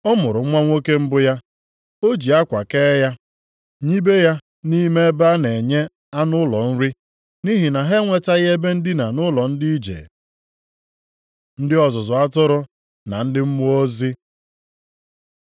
Ọ mụrụ nwa nwoke mbụ ya. O ji akwa kee ya, nibe ya nʼime ebe a na-enye anụ ụlọ nri, nʼihi na ha enwetaghị ebe ndina nʼụlọ ndị ije. Ndị ọzụzụ atụrụ na ndị Mmụọ Ozi